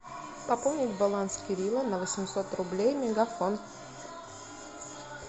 пополнить баланс кирилла на восемьсот рублей мегафон